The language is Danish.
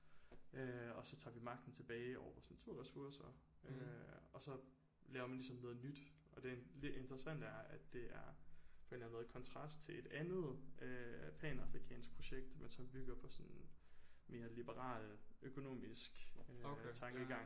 Øh og så tager vi magten tilbage over vores naturressourcer øh og så laver man ligesom noget nyt og det lidt interessante er at det er på en eller anden måde kontrast til et andet øh panafrikansk projekt men som bygger på sådan mere liberal økonomisk øh tankegang